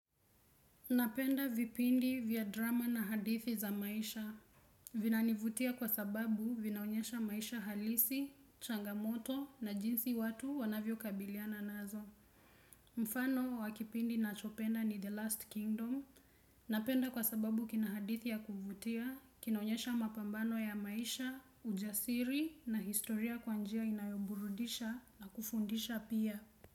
Napenda vipindi vya drama na hadithi za maisha Vinanivutia kwa sababu vinaonyesha maisha halisi, changamoto na jinsi watu wanavyo kabiliana nazo mfano wa kipindi nachopenda ni The Last Kingdom Napenda kwa sababu kina hadithi ya kuvutia, kinaonyesha mapambano ya maisha, ujasiri na historia kwa njia inayo burudisha na kufundisha pia.